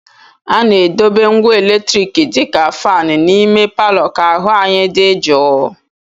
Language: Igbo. A na-edobe ngwa eletriki dị ka fan n'ime palọ ka ahụ anyi dị jụụ